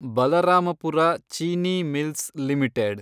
Balrampur Chini mills limited